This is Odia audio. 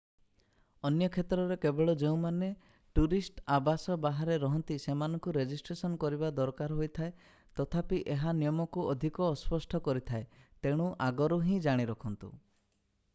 ଅନ୍ୟ କ୍ଷେତ୍ରରେ କେବଳ ଯେଉଁମାନେ ଟୁରିଷ୍ଟ ଆବାସ ବାହାରେ ରହନ୍ତି ସେମାନଙ୍କୁ ରେଜିଷ୍ଟ୍ରେସନ କରିବା ଦରକାର ହେଇଥାଏ ତଥାପି ଏହା ନିୟମକୁ ଅଧିକ ଅସ୍ପଷ୍ଟ କରିଥାଏ ତେଣୁ ଆଗରୁ ହିଁ ଜାଣି ରଖନ୍ତୁ